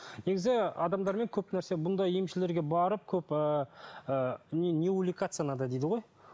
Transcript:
негізі адамдармен көп нәрсе бұндай емшілерге барып көп ыыы не увлекаться надо дейді ғой